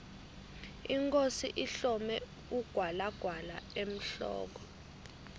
inkhosi ihlome ugwalagwala emhloko